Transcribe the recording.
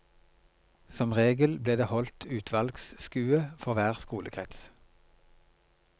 Som regel ble det holdt utvalgsskue for hver skolekrets.